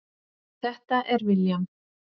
Þetta er William.